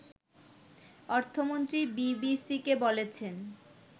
অর্থমন্ত্রী বিবিসিকে বলেছেন